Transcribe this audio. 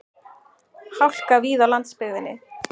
Hálka víða á landsbyggðinni